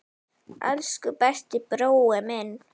Elsku besti brói minn.